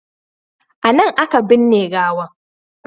A nan a ka binne gawan